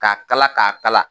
K'a kala k'a kala.